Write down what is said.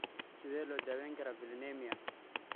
Sidee loo daweyn karaa valinemia?